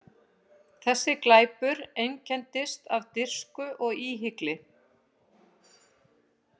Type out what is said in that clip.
Þessi glæpur einkenndist af dirfsku og íhygli.